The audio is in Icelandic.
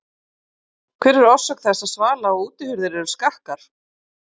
Hver er orsök þess að svala- og útihurðir eru skakkar?